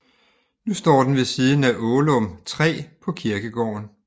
Nu står den ved siden af Ålum 3 på kirkegården